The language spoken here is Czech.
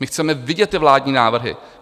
My chceme vidět ty vládní návrhy!